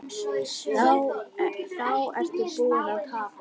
Þá ertu búinn að tapa.